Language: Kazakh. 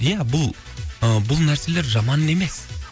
ия бұл ы бұл нәрселер жаман емес